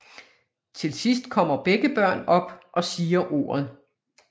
Til sidst kommer begge børn op og siger ordet